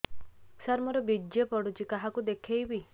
ସାର ମୋର ବୀର୍ଯ୍ୟ ପଢ଼ୁଛି କାହାକୁ ଦେଖେଇବି